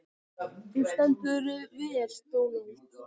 Þú stendur þig vel, Dónald!